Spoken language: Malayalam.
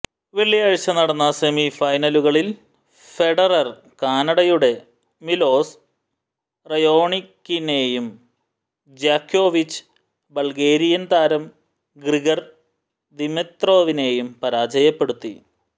വെള്ളിയാഴ്ച നടന്ന സെമി ഫൈനലുകളിൽ ഫെഡറർ കാനഡയുടെ മിലോസ് റയോണിക്കിനെയും ജ്യോക്കോവിച് ബൾഗേരിയൻ താരം ഗ്രിഗർ ദിമിത്രോവിനെയും പരാജയപ്പെടുത്തി